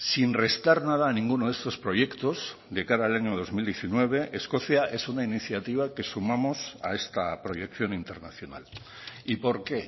sin restar nada a ninguno de estos proyectos de cara al año dos mil diecinueve escocia es una iniciativa que sumamos a esta proyección internacional y por qué